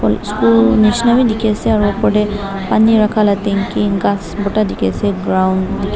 school nishina wi dekhi ase aru opor tey pani rakha la tanky ghas borta dikh ase ground .